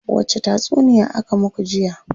Wace tatsuniya aka muku jiya?